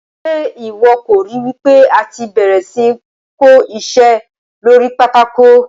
Ṣe iwọ kò ri wipe àti bẹ̀rẹ̀ sí ní kó iṣẹ́ lórí pátákó?